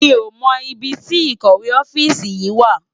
Mi ó mò ibi ti ikòwé òfisi yin wá